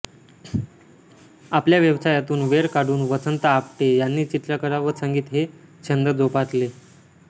आपल्या व्यवसायातून वेळ काढून वसंत आपटे यांनी चित्रकला व संगीत हे छंद जोपासले